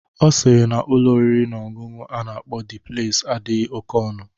Ọ sịrị na n'Ụlọ oriri na ọṅụṅụ a na-akpọ Dị Pleis adịghị oke ọnụ.